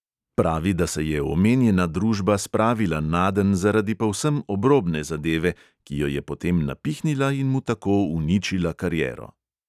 Pravi, da se je omenjena družba spravila nadenj zaradi povsem obrobne zadeve, ki jo je potem napihnila in mu tako uničila kariero.